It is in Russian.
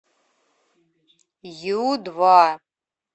ю два